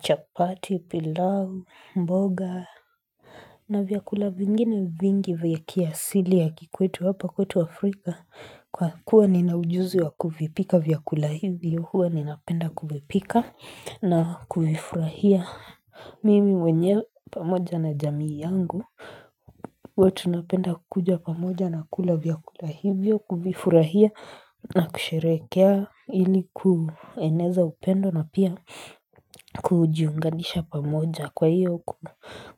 chapati, pilau, mboga. Na vyakula vingine vingi vya kiasili ya kikwetu hapa kwetu Afrika Kwa kuwa nina ujuzi wa kufipika vyakula hivyo huwa ninapenda kufipika na kufifurahia Mimi mwenyewe pamoja na jamii yangu huwa tunapenda kukuja pamoja na kula vyakula hivyo kufifurahia na kusherekea Hili kueneza upendo na pia kujiunganisha pamoja Kwa hiyo